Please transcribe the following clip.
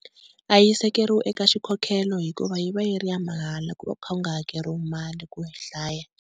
A yi sekeriwi eka xikhokhelo hikuva yi va yi ri ya mahala ku va ku kha ku nga hakeriwi mali ku yi hlaya.